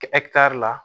Kɛ kitari la